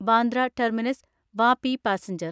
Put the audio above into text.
Bandra terminus Vapi passenger